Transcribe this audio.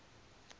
kwafilingi